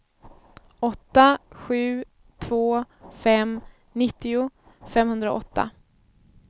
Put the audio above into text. åtta sju två fem nittio femhundraåtta